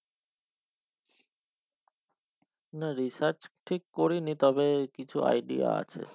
না research ঠিক করিনি তবে কিছু idea আছে